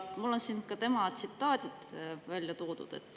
Mul on siin tema tsitaadid välja toodud.